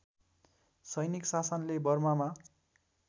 सैनिक शासनले बर्मामा